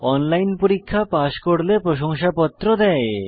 online পরীক্ষা pass করলে প্রশংসাপত্র দেয়